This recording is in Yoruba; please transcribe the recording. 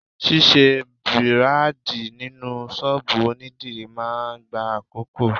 Ṣisẹ́ Bírádìì nínú ṣọ́bùù onídìrí máa ń gba àkókò.